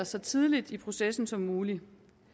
så tidligt i processen som muligt